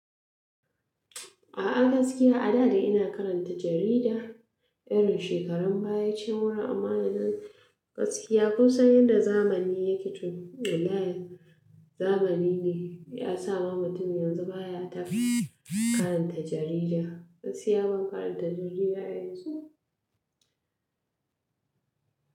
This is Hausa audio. A'a gaskiya a da de ina karanta jarida irin shekarun baya can wurin amma yanzu gaskiya kun san yadda zamani yake toh wallahi zamani ne ya sa ma mutum yanzu baya ta karanta jarida. Gaskiya ban karanta jarida yanzu.